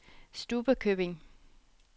Stubbekøbing